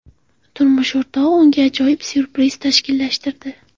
Turmush o‘rtog‘i unga ajoyib syurpriz tashkillashtirdi.